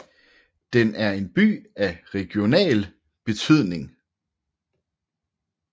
Den er en by af regional betydning